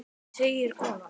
segir konan.